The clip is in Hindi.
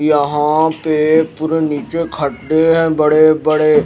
यहां पे पूरे नीचे खड्डे हैं बड़े-बड़े--